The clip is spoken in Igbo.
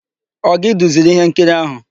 Ọ gị duziri íhénkiri áhụ̀?